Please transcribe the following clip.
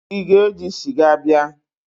Ị ga-eji sịga bịa?